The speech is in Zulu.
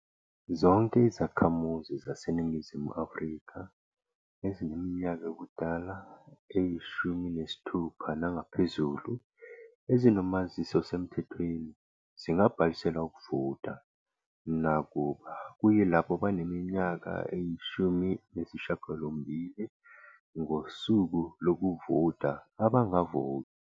Zonke izakhamuzi zaseNingizimu Afrika ezineminyaka yobudala eyi-16 nangaphezulu ezinomazisi osemthethweni zingabhalisela ukuvota, nakuba kuyilabo abaneminyaka eyi-18 ngosuku lokuvota abangavota.